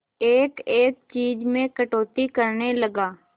एक एक चीज में कटौती करने लगा